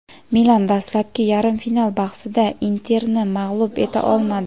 "Milan" dastlabki yarim final bahsida "Inter"ni mag‘lub eta olmadi.